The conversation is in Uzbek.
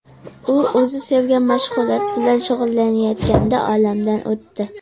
U o‘zi sevgan mashg‘ulot bilan shug‘ullanayotganida, olamdan o‘tdi.